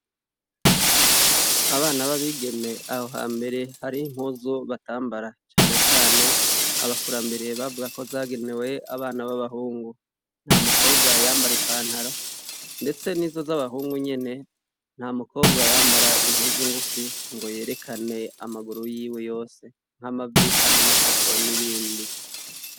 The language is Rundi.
Abana b'abigeme aho hambere hariho impuzu batambara na cane cane abakurambere bavuga ko zagenewe abana b'abahungu, umukobwa yambara ipantaro ndetse nizo z'abahungu nyene nta mukobwa yambara impuzu ngufi ngo yerekane amaguru yiwe yose ,nk'amavi canke amatako n'ibindi.